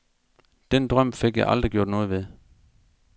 Den drøm fik jeg aldrig gjort noget ved.